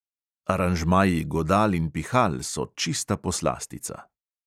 Aranžmaji godal in pihal so čista poslastica.